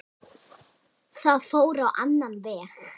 Það fór á annan veg.